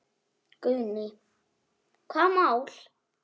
Guðný: Hvaða mál?